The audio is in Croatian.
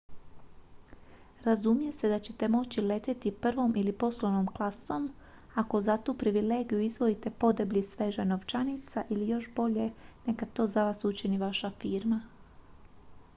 razumije se da ćete moći letjeti prvom ili poslovnom klasom ako za tu privilegiju izdvojite podeblji svežanj novčanica ili još bolje neka to za vas učini vaša firma